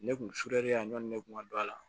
Ne kun surelen a ɲɔnni ne kun ka don a la